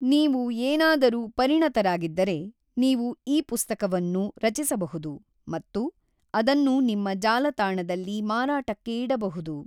ನೀವು ಏನಾದರೂ ಪರಿಣತರಾಗಿದ್ದರೆ, ನೀವು ಇ-ಪುಸ್ತಕವನ್ನು ರಚಿಸಬಹುದು ಮತ್ತು ಅದನ್ನು ನಿಮ್ಮ ಜಾಲತಾಣದಲ್ಲಿ ಮಾರಾಟಕ್ಕೆ ಇಡಬಹುದು.